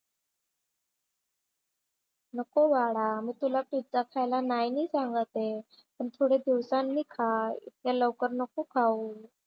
नको बाळा मी तुला पिझ्झा खायला नाही नाही सांगत आहे. पण थोडे दिवसांनी खा. इतके लवकर नको खाऊ.